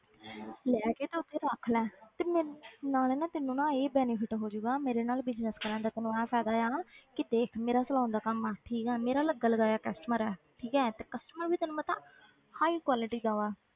ਲੈ ਕੇ ਤੇ ਉੱਥੇ ਰੱਖ ਲੈ ਤੇ ਮੈਂ ਨਾਲੇ ਨਾ ਤੈਨੂੰ ਨਾ ਇਹ benefit ਹੋ ਜਾਊਗਾ ਮੇਰੇ ਨਾਲ business ਕਰਨ ਦਾ ਤੈਨੂੰ ਆਹ ਫ਼ਾਇਦਾ ਆ ਕਿ ਦੇਖ ਮੇਰਾ saloon ਦਾ ਕੰਮ ਆ ਠੀਕ ਆ ਮੇਰਾ ਲੱਗਾ ਲਗਾਇਆ customer ਹੈ ਠੀਕ ਹੈ ਤੇ customer ਵੀ ਤੈਨੂੰ ਪਤਾ high quality ਦਾ ਵਾ,